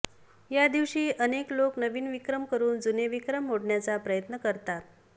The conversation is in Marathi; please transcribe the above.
या दिवशी अनेक लोक नवीन विक्रम करून जुने विक्रम मोडण्याचा प्रयत्न करतात